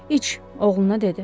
İç, oğluna dedi.